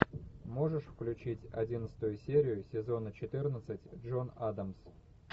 можешь включить одиннадцатую серию сезона четырнадцать джон адамс